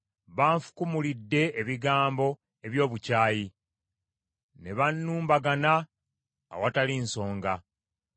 Banfukumulidde ebigambo eby’obukyayi, ne bannumbagana awatali nsonga.